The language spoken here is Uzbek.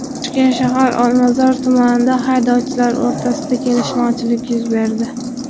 Toshkent shahar Olmazor tumanida haydovchilar o‘rtasida kelishmovchilik yuz berdi.